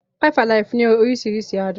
Five-alive ní oríṣiríṣi àádùn.